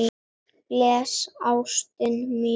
Bless ástin mín.